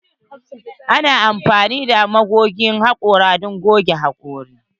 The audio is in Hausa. Ana amfani da magogin haƙora don goge hakori.